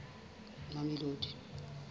mamelodi